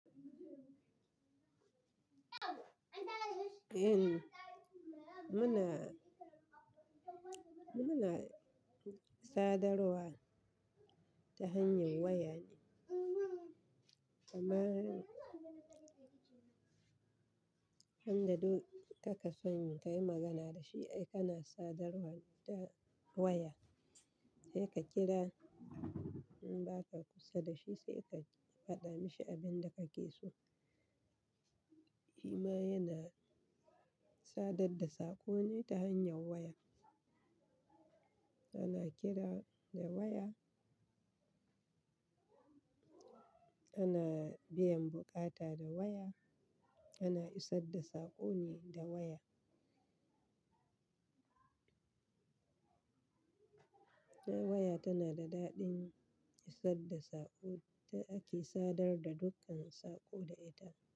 Eh muna, muna sadarwa ta hanyar waya amma ka ka sani ka yi magana da shi, ai kana sadarwa da waya sai ka kira in ba ka kusa da shi sai ka faɗa mashi abin da kake so. Hima yana sadad da sakone ta hanyar waya. Ana kira da waya, ana biyan buƙata da waya, ana isar da sakone ta waya. Waya tana da daɗin isar da sako da ake sadar da dukkan sako da ita.